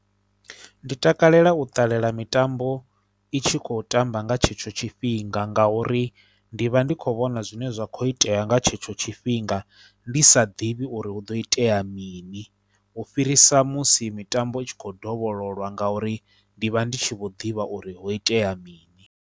Ndi takalela u ṱalela mitambo i tshi khou tamba nga tshetsho tshifhinga ngauri ndi vha ndi khou vhona zwine zwa khou itea nga tshetsho tshifhinga ndi sa ḓivhi uri hu do itea mini u fhirisa musi mitambo i tshi khou dovhololwa ngauri ndi vha ndi tshi vho ḓivha uri ho itea mini.